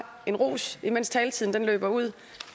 en ros mens taletiden løber ud